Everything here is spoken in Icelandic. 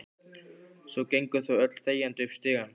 Svo gengu þau öll þegjandi upp stigann.